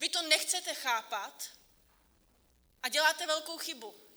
Vy to nechcete chápat a děláte velkou chybu.